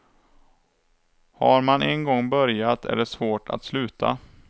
Har man en gång börjat är det svårt att sluta.